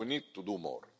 But we need to do more.